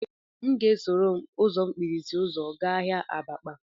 M ga-esoro m ụzọ mkpirisi ụzọ gaa ahịa abakpa